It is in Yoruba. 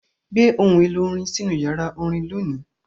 Gbé ohun èlò orin sínú yàrá orin lónìí!